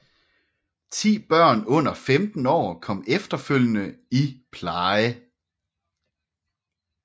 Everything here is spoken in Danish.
Ti børn under 15 år kom efterfølgende i pleje